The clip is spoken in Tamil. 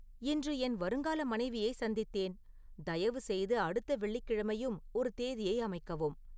இன்று என் வருங்கால மனைவியை சந்தித்தேன் தயவுசெய்து அடுத்த வெள்ளிக்கிழமையும் ஒரு தேதியை அமைக்கவும்